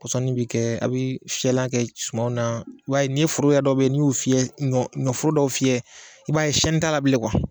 pɔsɔni bɛ kɛ a bɛ fiyɛlan kɛ suma na wa n'i foro yɛrɛ dɔw bɛ yen n'i y'u fiɲɛ ɲɔforo dɔw fiyɛ i b'a ye siɲɛni t'a la bilen